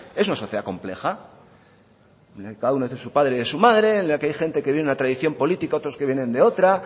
es una sociedad compleja cada uno es de su padre y de su madre en la que hay gente que viene de una tradición política otros que vienen de otra